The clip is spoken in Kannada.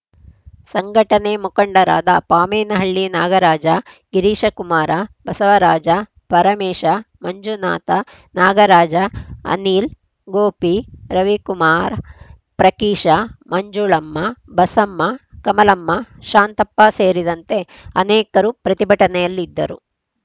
ಸಂಘಟನೆ ಮುಖಂಡರಾದ ಪಾಮೇನಹಳ್ಳಿ ನಾಗರಾಜ ಗಿರೀಶಕುಮಾರ ಬಸವರಾಜ ಪರಮೇಶ ಮಂಜುನಾಥ ನಾಗರಾಜ ಅನಿಲ್‌ ಗೋಪಿ ರವಿಕುಮಾರ ಪ್ರಕೀಶ ಮಂಜುಳಮ್ಮ ಬಸಮ್ಮ ಕಮಲಮ್ಮ ಶಾಂತಪ್ಪ ಸೇರಿದಂತೆ ಅನೇಕರು ಪ್ರತಿಭಟನೆಯಲ್ಲಿದ್ದರು